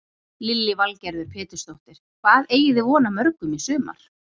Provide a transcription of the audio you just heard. Lillý Valgerður Pétursdóttir: Hvað eigið þið von á mörgum í sumar?